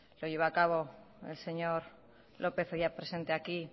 lo llevó a cabo el señor lópez hoy ya presente aquí